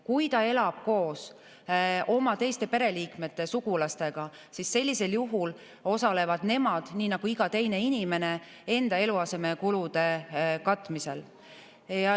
Kui ta elab koos oma teiste pereliikmete või sugulastega, siis sellisel juhul osalevad nemad nii nagu iga teine inimene enda eluasemekulude katmisel.